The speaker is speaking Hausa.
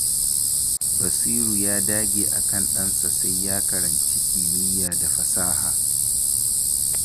Basiru ya dage akan ɗansa sai ya karanci kimiyya da fasaha.